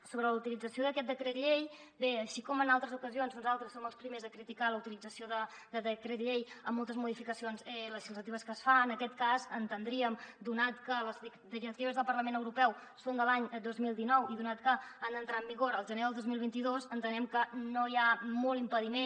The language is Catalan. sobre la utilització d’aquest decret llei bé així com en altres ocasions nosaltres som els primers a criticar la utilització de decret llei en moltes modificacions legislatives que es fan en aquest cas entendríem donat que les directives del parlament europeu són de l’any dos mil dinou i donat que han d’entrar en vigor el gener del dos mil vint dos entenem que no hi ha molt impediment